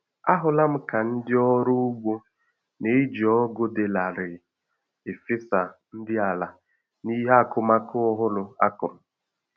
Ahụla m ka ndị ọrụ ugbo na-eji ọgụ dị larịị efesa nri ala n'ihe akụmakụ ọhụrụ a kụrụ